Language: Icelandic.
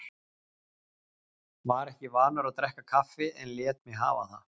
Var ekki vanur að drekka kaffi en lét mig hafa það.